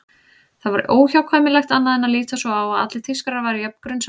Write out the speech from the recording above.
Það var óhjákvæmilegt annað en að líta svo á að allir Þýskarar væru jafn grunsamlegir.